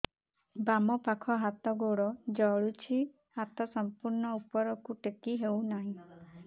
ବାମପାଖ ହାତ ଗୋଡ଼ ଜଳୁଛି ହାତ ସଂପୂର୍ଣ୍ଣ ଉପରକୁ ଟେକି ହେଉନାହିଁ